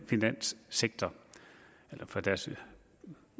finanssektor eller fra deres